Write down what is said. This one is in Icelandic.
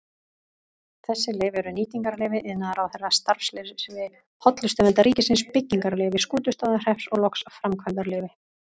Þessi leyfi eru nýtingarleyfi iðnaðarráðherra, starfsleyfi Hollustuverndar ríkisins, byggingarleyfi Skútustaðahrepps og loks framkvæmdaleyfi.